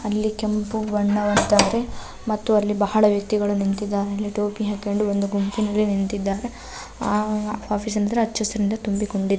ಅಲ್ಲಿ ಕೆಂಪು ಬಣ್ಣವನ್ನು ಮತ್ತು ಅಲ್ಲಿ ಬಹಳ ವೆಕ್ತಿಗಳು ನಿಂತಿದೆಯೇ ಟೋಪಿ ಅಕುಕೊಂಡು ಒಂದು ಗುಂಪಿನಲ್ಲಿ ನಿಂತಿದ್ದಾರೆ ಆ ಆಫೀಸ್ ಹೆಚ್ಚು ಹಸಿರು ನಿಂದ ತುಂಬಿ ಕೊಂಡಿದೆ.